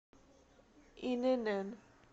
инн